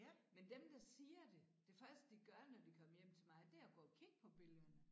Men dem der siger det det første de gør når de kommer hjem til mig det er at gå og kigge på billederne